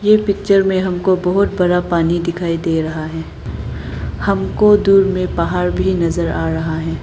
इस पिक्चर में हमको बहुत बड़ा पानी दिखाई दे रहा है। हमको दूर में पहाड़ भी नजर आ रहा है।